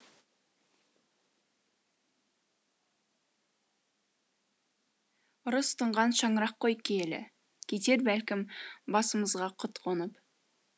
ырыс тұңған шаңырақ қой киелі кетер бәлкім басымызға құт қонып